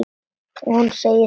Og hún segir honum það.